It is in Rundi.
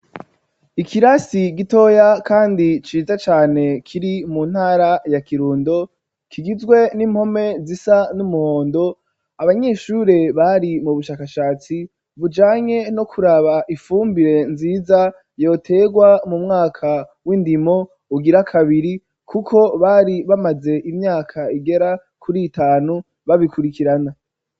Ikirasi gitoya kandi ciza cane kiri mu ntara ya Kirundo, kigizwe n'impome zisa n'umuhondo abanyeshure bari mu bushakashatsi bujanye no kuraba ifumbire nziza yoterwa mu mwaka w'indimo ugira kabiri, kuko bari bamaze imyaka igera kuri itanu babikurikirana.